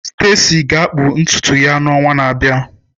Stacy ga-akpụ ntutu ya n'ọnwa na-abịa.